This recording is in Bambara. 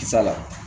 Kisa la